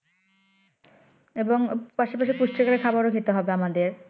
এবং পাশাপাশি পুষ্টিকর খাবারও খেতে হবে আমাদের